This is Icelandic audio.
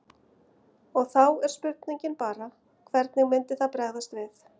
Og þá er spurningin bara hvernig myndi það bregðast við?